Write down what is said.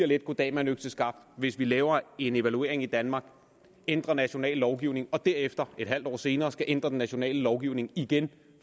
lidt goddag mand økseskaft hvis vi laver en evaluering i danmark ændrer national lovgivning og derefter et halvt år senere skal ændre den nationale lovgivning igen